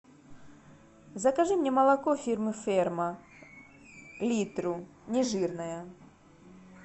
закажи мне молоко фирмы ферма литру нежирное